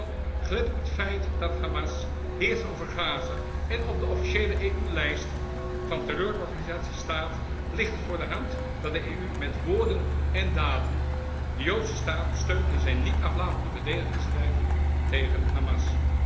Wel, gelet op het feit dat Hamas heerst over Gaza en op de officiële EU lijst van terreurorganisaties staat, ligt het voor de hand dat de EU met woorden en daden de Joodse staat steunt in zijn niet aflatende verdedigingsstrijd tegen Hamas.